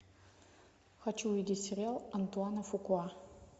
хочу увидеть сериал антуана фукуа